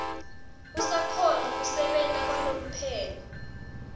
usakhona kusebenta kwalomphelo